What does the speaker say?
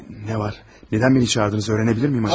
Nə var, niyə məni çağırdınız öyrənə bilərəmmi acaba?